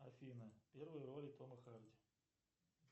афина первые роли тома харди